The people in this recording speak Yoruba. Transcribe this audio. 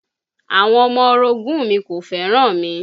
Àwọn ọmọ orogún ùn mi kò fẹ́ràn mi